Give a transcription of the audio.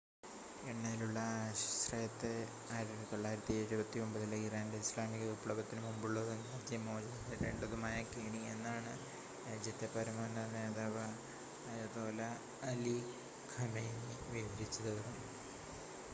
"എണ്ണയിലുള്ള ആശ്രയത്തെ 1979-ലെ ഇറാന്റെ ഇസ്ലാമിക വിപ്ലവത്തിന് മുമ്പുള്ളതും രാജ്യം മോചനം നേടേണ്ടതുമായ "കെണി" എന്നാണ് രാജ്യത്തെ പരമോന്നത നേതാവ് അയതോല്ല അലി ഖമേനി വിവരിച്ചത്.